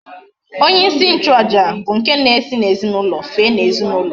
Onye isi nchu aja bu nke na esi na ezinaulo fee na ezinaulo